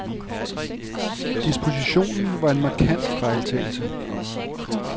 Dispositionen var en markant fejltagelse.